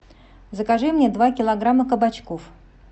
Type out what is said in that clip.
закажи мне два килограмма кабачков